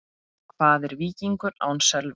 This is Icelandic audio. Hvað er Víkingur án Sölva?